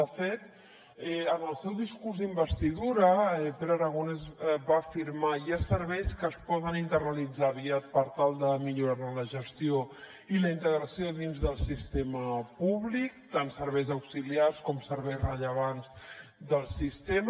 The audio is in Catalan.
de fet en el seu discurs d’investidura pere aragonès va afirmar hi ha serveis que es poden internalitzar aviat per tal de millorar ne la gestió i la integració dins del sistema públic tant serveis auxiliars com serveis rellevants del sistema